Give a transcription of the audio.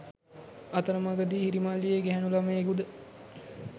අතරමඟදී හිරිමල් වියේ ගැහැණු ළමයෙකුද